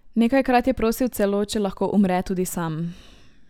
Nekajkrat je prosil celo, če lahko umre tudi sam ...